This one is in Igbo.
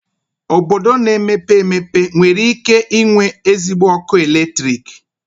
Obodo na-emepe emepe nwere ike inwe ezigbo ọkụ eletrik?